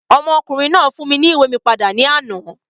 Ọmọkùnrin náà fún mi ní ìwé mi padà ní àná.